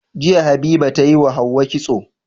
Jiya habiba tayi wa hauwa kitso